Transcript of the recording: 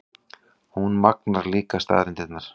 Hún magnar líka staðreyndirnar.